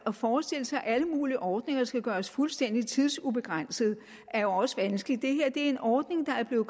at forestille sig at alle mulige ordninger skal gøres fuldstændig tidsubegrænsede er jo også vanskeligt det her er en ordning der er blevet